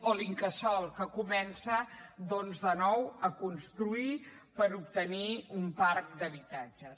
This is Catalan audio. o l’incasòl que comença doncs de nou a construir per obtenir un parc d’habitatges